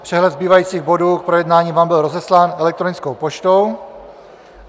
Přehled zbývajících bodů k projednání vám byl rozeslán elektronickou poštou.